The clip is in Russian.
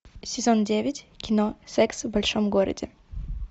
сезон девять кино секс в большом городе